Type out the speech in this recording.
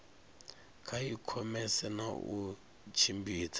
kha ikhomese na u tshimbidza